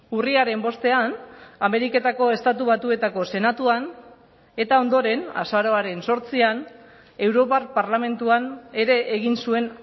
urriaren bostean ameriketako estatu batuetako senatuan eta ondoren azaroaren zortzian europar parlamentuan ere egin zuen